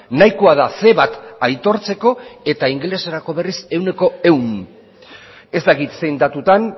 nahikoa da ce bat aitortzeko eta ingeleserako berriz cien por ciento ez dakit zein datutan